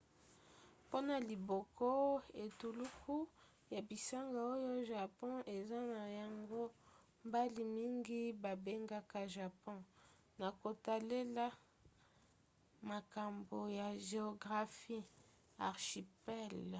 mpona liboke/etuluku ya bisanga oyo japon eza na yango mbala mingi babengaka japon na kotalela makambo ya geographie archipel